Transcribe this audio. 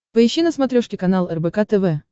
поищи на смотрешке канал рбк тв